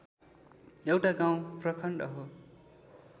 एउटा गाउँ प्रखण्ड हो